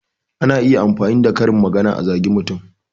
Ana iya amfani da karin magana a zage mutum